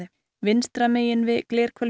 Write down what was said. vinstra megin við